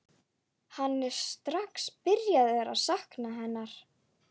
Hann er strax byrjaður að sakna hennar.